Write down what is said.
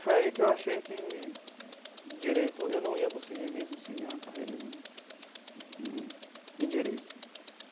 Foi aí que eu achei que direito eu não ia conseguir mesmo seguir uma carreira em em em direito.